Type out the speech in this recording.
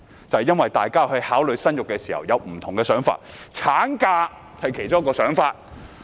正因為大家考慮生育時，會有不同的想法，產假是其中一個考慮因素。